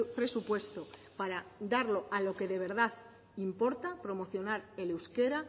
presupuesto para darlo a lo que de verdad importa promocionar el euskera